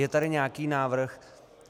Je tady nějaký návrh.